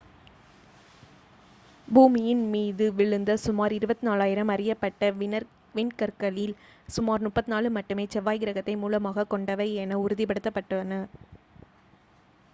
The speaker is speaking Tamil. பூமியின் மீது விழுந்த சுமார் 24,000 அறியப்பட்ட விண்கற்களில் சுமார் 34 மட்டுமே செவ்வாய் கிரகத்தை மூலமாகக் கொண்டவை என உறுதிப்படுத்தப்பட்டுள்ளன